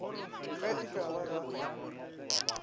ge e ka ba ga